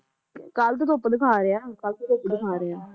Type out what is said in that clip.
ਕੱਲ ਤਾਂ ਧੁੱਪ ਦਿਖਾ ਰਿਹਾ, ਕੱਲ ਤਾਂ ਧੁੱਪ ਦਿਖਾ ਰਿਹਾ